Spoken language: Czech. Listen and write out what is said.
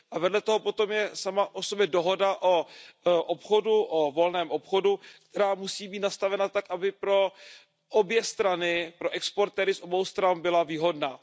Vedle toho potom je sama o sobě dohoda o volném obchodu, která musí být nastavena tak, aby pro obě strany, pro exportéry z obou stran byla výhodná.